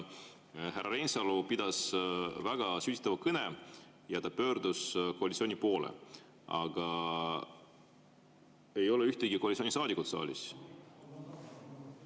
Härra Reinsalu pidas väga sütitava kõne ja pöördus koalitsiooni poole, aga ühtegi koalitsioonisaadikut ei ole saalis.